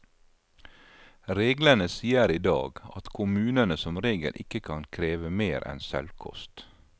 Reglene sier i dag at kommunene som regel ikke kan kreve mer enn selvkost.